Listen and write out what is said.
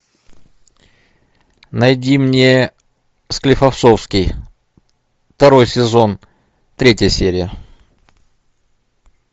найди мне склифосовский второй сезон третья серия